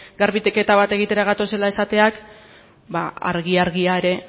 garbiketa bat egitera gatozela esateak ba argi argia ere